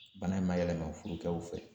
Bana in ma yɛlɛma furukɛw fɛ